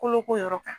Kolo ko yɔrɔ kan